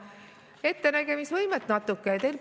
Ettenägemisvõimet natuke!